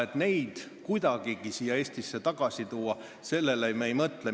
Et neid kuidagigi siia Eestisse tagasi tuua, sellele me ei mõtle.